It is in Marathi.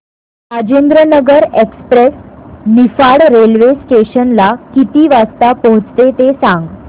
Rajendranagar express Niphad railway station ला किती वाजता पोहचते ते सांग